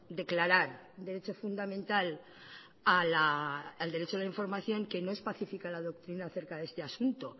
declarar derecho fundamental al derecho de información que no especifica la doctrina acerca de este asunto